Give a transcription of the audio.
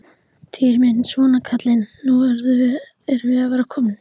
Týri minn, svona kallinn, nú erum við að verða komin.